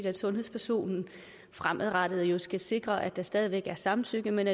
at sundhedspersonen fremadrettet skal sikre at der stadig væk er samtykke men